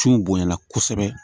Su bonya na kosɛbɛ